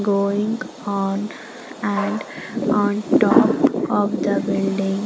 going on and on top of the building.